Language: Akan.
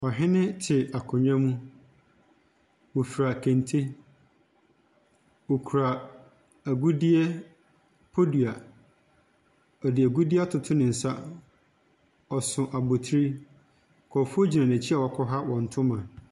Ɔhene te akonnwa mu. Ɔfura kente. Ɔkura agudeɛ, podua. Ɔde agudeɛ atoto ne nsa. Ɔso abotire. Nkurɔfoɔ gyina n'akyi a wɔakwaha ne ntoma.